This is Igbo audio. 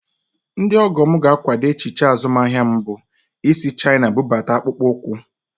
Ndị ọgọ m ga-akwado echiche azụmaahịa m bụ isi Chaina bụbata akpụkpọ ụkwụ